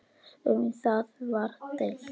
Um það var deilt.